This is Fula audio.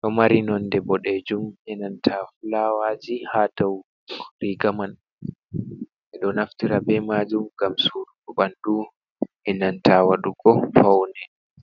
do mari nonde bo dejum enanta fulawaji ha dou riga man be do naftira be majum gam surugo bandu enanta wadugo faunen.